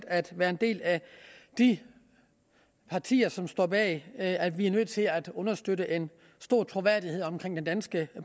at være en del af de partier som står bag at vi er nødt til at understøtte en stor troværdighed omkring den danske